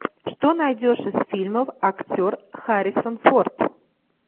что найдешь из фильмов актер харрисон форд